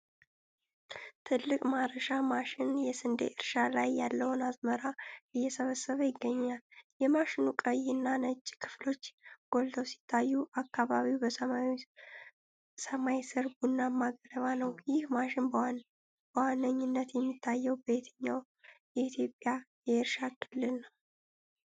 ትልቅ ማረሻ ማሽን የስንዴ እርሻ ላይ ያለውን አዝመራ እየሰበሰበ ይገኛል። የማሽኑ ቀይና ነጭ ክፍሎች ጎልተው ሲታዩ፣ አካባቢው በሰማያዊ ሰማይ ስር ቡናማ ገለባ ነው። ይህ ማሽን በዋነኝነት የሚታየው በየትኛው የኢትዮጵያ የእርሻ ክልል ነው?